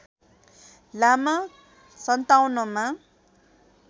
लामा ०५७ मा